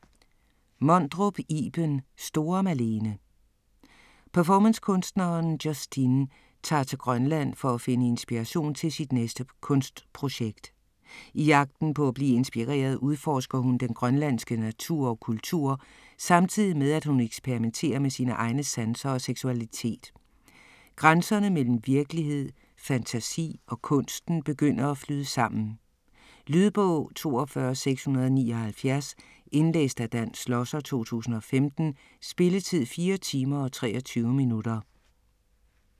Mondrup, Iben: Store Malene Performancekunstneren Justine tager til Grønland for at finde inspiration til sit næste kunstprojekt. I jagten på at blive inspireret udforsker hun den grønlandske natur og kultur samtidig med at hun eksperimenterer med sine egne sanser og seksualitet. Grænserne mellem virkelighed, fantasi og kunsten begynder at flyde sammen. Lydbog 42679 Indlæst af Dan Schlosser, 2015. Spilletid: 4 timer, 23 minutter.